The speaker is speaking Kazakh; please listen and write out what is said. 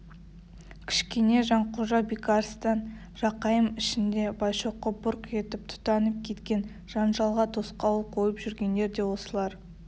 кішкене жанқожа бекарыстан жақайым ішінде байшоқы бұрқ етіп тұтанып кеткен жанжалға тосқауыл қойып жүргендер де солар